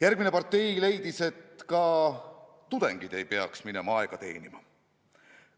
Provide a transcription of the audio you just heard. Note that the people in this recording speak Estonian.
Järgmine partei leidis, et ka tudengid ei peaks minema aega teenima.